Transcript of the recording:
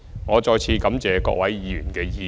我再次感謝各位議員的意見。